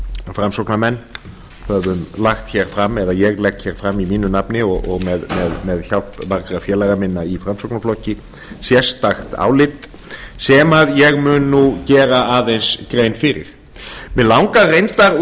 framsóknarmenn höfum lagt hér fram eða ég legg hér fram í mínu nafni og með hjálp margra félaga minna í framsóknarflokki sérstakt álit sem ég mun nú gera aðeins grein fyrir mig langar reyndar úr